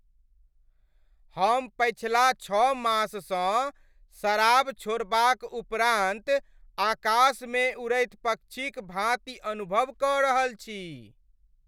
हम पछिला छओ माससँ शराब छोड़बाक उपरान्त आकाशमे उड़ैत पक्षीक भाँति अनुभव कऽ रहल छी।